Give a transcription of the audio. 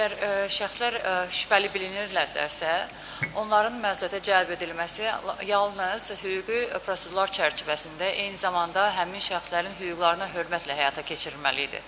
Əgər şəxslər şübhəli bilinirlərsə, onların məsuliyyətə cəlb edilməsi yalnız hüquqi prosedurlar çərçivəsində, eyni zamanda həmin şəxslərin hüquqlarına hörmətlə həyata keçirilməli idi.